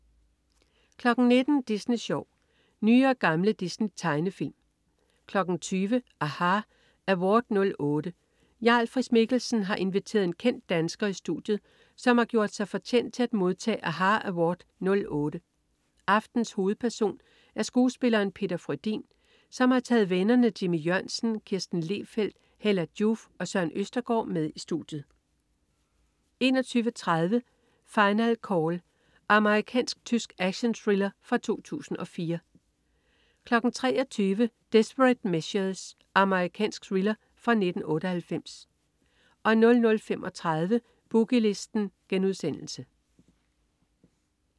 19.00 Disney Sjov. Nye og gamle Disney-tegnefilm 20.00 aHA! Award '08. Jarl Friis-Mikkelsen har inviteret en kendt dansker i studiet, som har gjort sig fortjent til at modtage aHA! Award '08. Aftenens hovedperson er skuespilleren Peter Frödin, som har taget vennerne Jimmy Jørgensen, Kirsten Lehfeldt, Hella Joof og Søren Østergard med i studiet 21.30 Final Call. Amerikansk-tysk actionthriller fra 2004 23.00 Desperate Measures. Amerikansk thriller fra 1998 00.35 Boogie Listen*